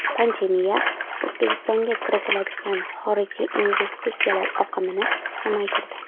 Pandemiya O‘zbekistonga kiritiladigan xorijiy investitsiyalar oqimini kamaytirdi.